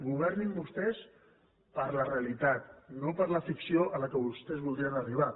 governin vostès per la realitat no per la ficció a què vostès voldrien arribar